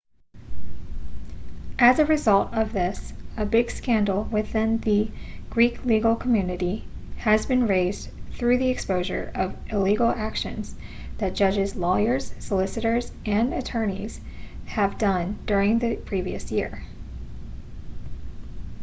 as a result of this a big scandal within the greek legal community has been raised through the exposure of illegal actions that judges lawyers solicitors and attorneys have done during the previous years